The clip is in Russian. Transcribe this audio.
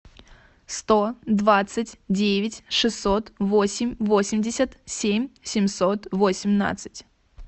сто двадцать девять шестьсот восемь восемьдесят семь семьсот восемнадцать